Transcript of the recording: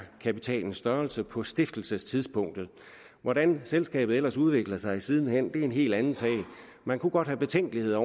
kapitalens størrelse på stiftelsestidspunktet hvordan selskabet ellers udvikler sig siden hen er en helt anden sag man kunne godt have betænkeligheder